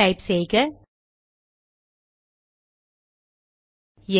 type செய்க